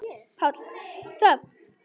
PÁLL: Þögn!